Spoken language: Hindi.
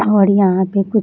और यहाँ पे कुछ --